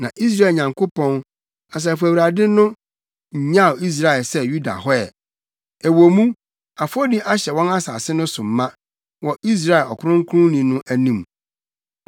Na Israel Nyankopɔn, Asafo Awurade no, nnyaw Israel ne Yuda hɔ ɛ, ɛwɔ mu, afɔdi ahyɛ wɔn asase no so ma wɔ Israel Ɔkronkronni no anim.